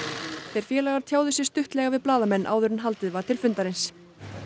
þeir félagar tjáðu sig stuttlega við blaðamenn áður en haldið var til fundarins